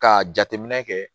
Ka jateminɛ kɛ